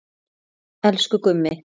Elsku Gummi.